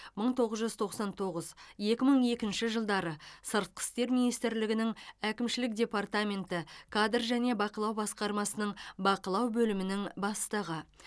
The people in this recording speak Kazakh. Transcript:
мың тоғыз жүз тоқсан тоғыз екі мың екінші жылдары сыртқы істер министрлігінің әкімшілік департаменті кадр және бақылау басқармасының бақылау бөлімінің бастығы